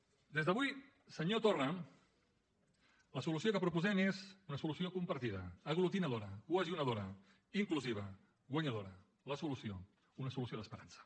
des d’avui senyor torra la solució que proposem és una solució compartida aglutinadora cohesionadora inclusiva guanyadora la solució una solució d’esperança